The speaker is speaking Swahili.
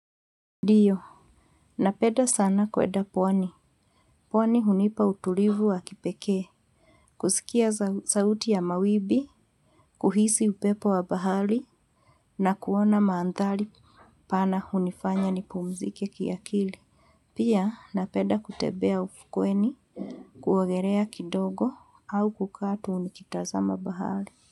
Ndiyo, napenda sana kwenda pwani. Pwani hunipa utulivu wa kipekee. Kusikia sauti ya mawimbi, kuhisi upepo wa bahari na kuona maandhari pana hunifanya ni pumzike kiakili. Pia, napenda kutembea ufukweni, kuogelea kidogo au kukaa tu nikitazama bahari.